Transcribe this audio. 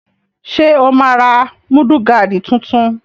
Ṣé o máa ra múdúgáàdì tuntun?